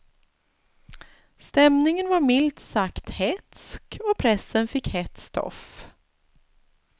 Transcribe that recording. Stämningen var milt sagt hätsk och pressen fick hett stoff.